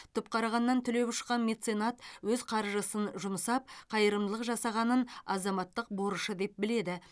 түпқарағаннан түлеп ұшқан меценат өз қаржысын жұмсап қайырымдылық жасағанын азаматтық борышы деп біледі